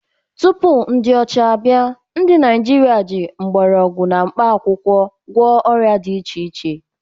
Tupu ndị ọcha abịa, ndị Naịjirịa ji mgbọrọgwụ na mkpa akwụkwọ gwọọ ọrịa dị iche iche